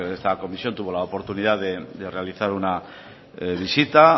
está comisión tuvo la oportunidad de realizar una visita